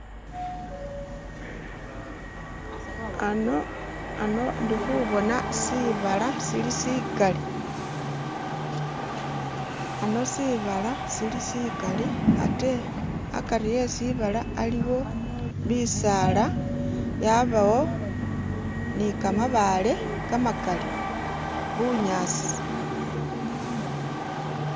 Ano, ano ndikubona shibala shili shigali, ano shibala shili shigali ate agati weshibala aliyo bisala, yabawo ni gamabale gamagali bunyasi..